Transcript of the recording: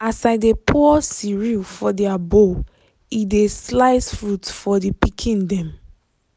as i i dey pour cereal for their bowl e dey slice fruit for the pikin dem.